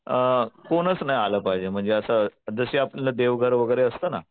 अ कोणच नाही आलं पाहिजे म्हणजे असं जसं आपलं देवघर वगैरे असतो ना